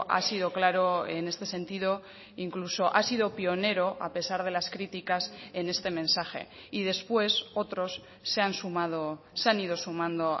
ha sido claro en este sentido incluso ha sido pionero a pesar de las críticas en este mensaje y después otros se han sumado se han ido sumando